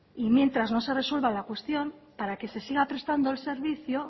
y mientras no se resuelva la cuestión para que se siga prestando el servicio